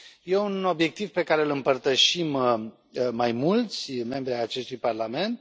E un obiectiv pe care îl împărtășim mai mulți membri ai acestui Parlament.